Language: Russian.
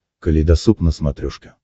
калейдосоп на смотрешке